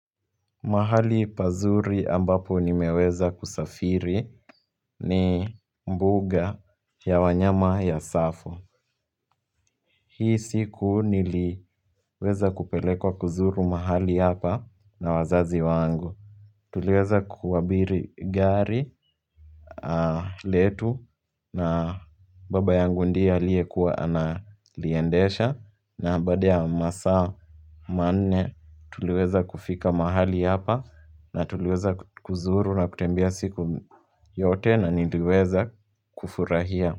Mahali pazuri ambapo nimeweza kusafiri, ni mbuga ya wanyama ya Tsavo. Hii siku, niliweza kupelekwa kuzuru mahali hapa na wazazi wangu. Tuliweza kuabiri gari letu na baba yangu ndiye aliye kuwa analiendesha na baada ya masaa manne tuliweza kufika mahali hapa na tuliweza kuzuru na kutembea siku yote na niliweza kufurahia.